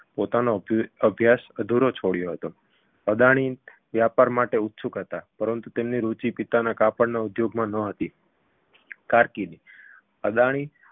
પોતાનો અભિ અભ્યાસ અધૂરો છોડ્યો હતો અદાણી વ્યાપાર માટે ઉત્સુક હતા પરંતુ તેમની રુચિ પિતાના કાપડ ઉદ્યોગમાં નહોતી કારકિર્દી અદાણી